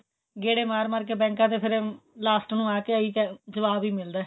ਗੇੜੇ ਮਾਰ ਮਾਰ ਕੇ ਬੈੰਕਾਂ ਦੇ ਫੇਰ last ਨੂੰ ਆ ਕੇ ਆਹੀ ਜਵਾਬ ਹੀ ਮਿਲਦਾ